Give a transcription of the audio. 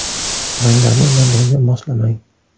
Ranglarni bir-biriga moslamang.